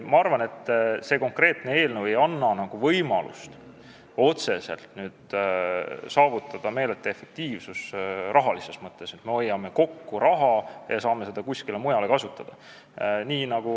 Ma arvan, et konkreetne eelnõu ei anna võimalust saavutada otseselt meeletut efektiivsust rahalises mõttes, nii et me hoiame raha kokku ja saame seda kuskil mujal kasutada.